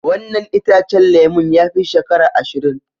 Wannan itacen lemun ya fi shekara ashirin.